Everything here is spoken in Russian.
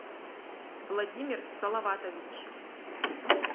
владимир салаватович